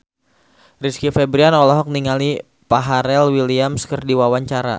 Rizky Febian olohok ningali Pharrell Williams keur diwawancara